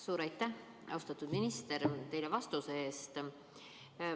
Suur aitäh teile, austatud minister, vastuse eest!